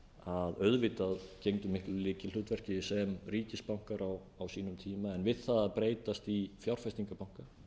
sem auðvitað gegndu miklu lykilhlutverki sem ríkisbankar á sínum tíma en við það að breytast í fjárfestingarbanka